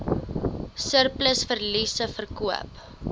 surplus verliese verkoop